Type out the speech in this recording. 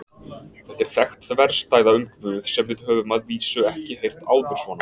Þetta er þekkt þverstæða um Guð sem við höfum að vísu ekki heyrt áður svona.